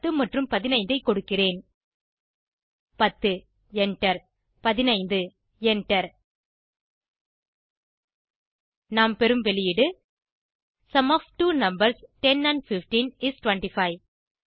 10 மற்றும் 15 ஐ கொடுக்கிறேன் 10 எண்டர் 15 எண்டர் நாம் பெறும் வெளியீடு sum of two numbers 10 and 15 is 25